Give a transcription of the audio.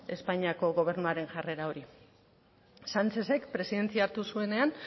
espainiako gobernuaren jarrera hori sánchezek presidentzia hartu zuenean